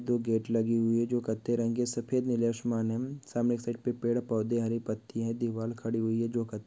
दो गेट लगे हुए है जो कत्थई रंग के सफेद नीले आसमानी सामने सड़क पर पेड-़ पौधे हरे पत्तियां है दीवाल खड़ी हुई है जो कत्थ--